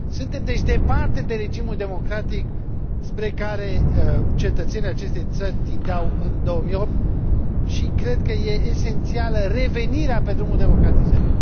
Suntem, deci, departe de regimul democratic spre care cetățenii acestei țări tindeau în 2008 și cred că e esențială revenirea pe drumul democratizării.